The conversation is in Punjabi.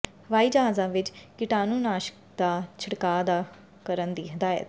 ਹਵਾਈ ਜਹਾਜ਼ਾਂ ਵਿੱਚ ਕੀਟਾਣੂਨਾਸ਼ਕਾਂ ਦਾ ਛਿੜਕਾਅ ਨਾ ਕਰਨ ਦੀ ਹਦਾਇਤ